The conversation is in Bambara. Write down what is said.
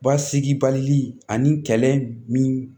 Basigi bali ani kɛlɛ min